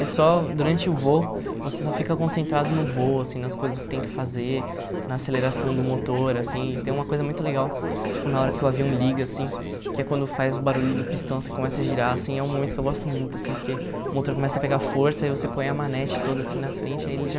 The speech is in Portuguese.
É só, durante o voo, você só fica concentrado no voo, assim, nas coisas que tem que fazer, na aceleração do motor, assim, e tem uma coisa muito legal, tipo, na hora que o avião liga, assim, que é quando faz o barulho do pistão, assim, que começa a girar, assim, é um momento que eu gosto muito, assim, porque o motor começa a pegar força, aí você põe a manete toda, assim, na frente, aí ele já...